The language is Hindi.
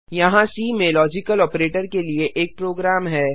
यहाँ सी में लॉजिकल ऑपरेटर के लिए एक प्रोग्राम है